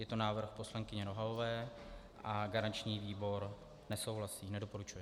Je to návrh poslankyně Nohavové a garanční výbor nesouhlasí, nedoporučuje.